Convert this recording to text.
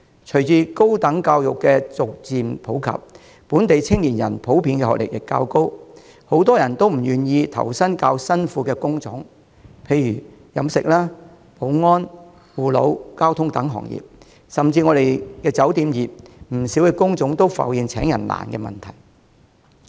隨着高等教育逐漸普及，本地青年人普遍學歷較高，很多人都不願投身體力勞動量較大的工種，例如飲食、保安、護老、交通等行業，甚至酒店業也有不少工種浮現招聘困難的問題。